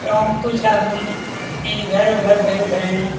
कुछ आदमी इधर उधर देख रहे है।